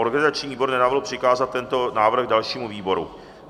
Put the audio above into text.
Organizační výbor nenavrhl přikázat tento návrh dalšímu výboru.